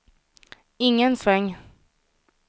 ingen sväng